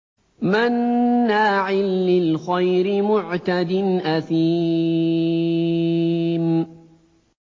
مَّنَّاعٍ لِّلْخَيْرِ مُعْتَدٍ أَثِيمٍ